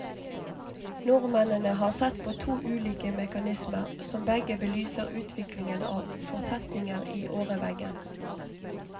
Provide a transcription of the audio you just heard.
Nordmennene har sett på to ulike mekanismer, som begge belyser utviklingen av fortetninger i åreveggen.